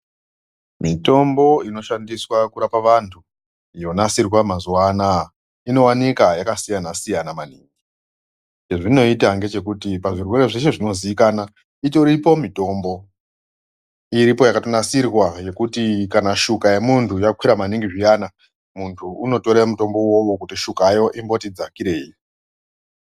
Mitombo inoshandiswa kurapa vantu yonasirwa mazuwa anaya unooneka yakasiyana siyana maningi chezvinoita ngechekuti pazvirwere zveshe zvonozikanwa itoripo mitombo irpo yakatonasirwa yekuti kana shuka yemunyu yakwira maningi zviyana muntu unotore mutombo uwowo kuti shukayo imboti dzakirei.